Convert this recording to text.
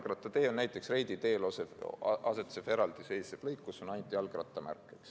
Jalgrattatee on näiteks Reidi teel asetsev eraldiseisev lõik, kus on ainult jalgrattamärk.